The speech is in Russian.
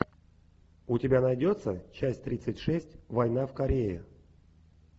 у тебя найдется часть тридцать шесть война в корее